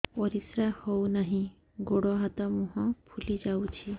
ପରିସ୍ରା ହଉ ନାହିଁ ଗୋଡ଼ ହାତ ମୁହଁ ଫୁଲି ଯାଉଛି